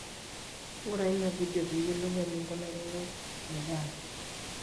ng'ura ina vedio pee iyiolou eninkunakino endaa